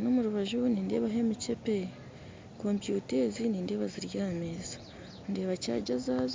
nomurubajju nindebaho emichepe, komputa ezi nindeeba ziri ahameza, ndeeba chajja zazo